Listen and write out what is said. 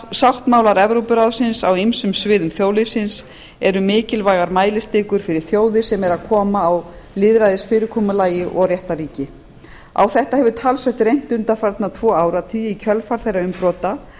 sáttmálar evrópuráðsins á ýmsum sviðum þjóðlífsins eru mikilvægar mælistikur fyrir þjóðir sem eru að koma á lýðræðisfyrirkomulagi og réttarríki í kjölfar þeirra umbrota